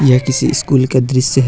यह किसी स्कूल का दृश्य है।